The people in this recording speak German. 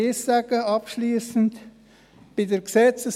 Ich möchte abschliessend noch eins sagen: